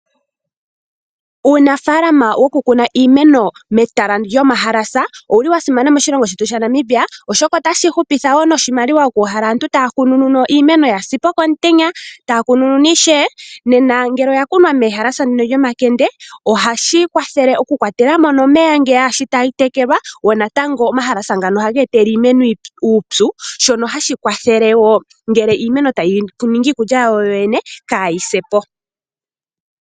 Uunafalaama wokukuna iimeno metala owa simana moshilongo shetu shaNamibia, oshoka otashi hupitha wo noshimaliwa okuuhala aantu taya kunununa, oshoka iimeno oya sa po komutenya. Taya kunununa ishewe nena ngele oya kunwa metala, ohashi kwathele okukwatela mo omeya shi tayi tekelwa oothayila ohadhi etele wo iimeno uupyu shono hashi kwathele wo ngele iimeno tayi ningi iikulya yawo yoyene kaayi se po.